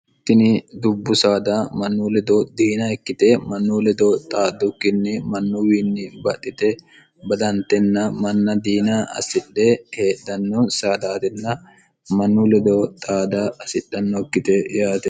tini dubbu saada mannu lido diina ikkite mannu lido xaaddukkinni mannuwiinni baxxite badantenna manna diina assidhe heedhanno saadaatinna mannu ledo xaada hasidhannokkite yaate